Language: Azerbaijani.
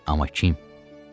Amma kim?